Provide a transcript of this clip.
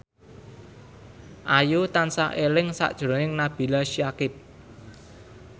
Ayu tansah eling sakjroning Nabila Syakieb